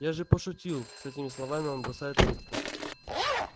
я же пошутил с этими словами он бросает трубку